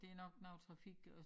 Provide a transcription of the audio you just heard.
Det nok noget trafik også